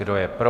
Kdo je pro?